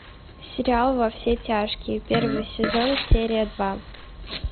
сериал во все тяжкие первый сезон серия два